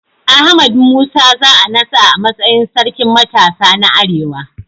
Ahmad Musa za a naɗa a matsayin Sarkin Matasa na Arewa.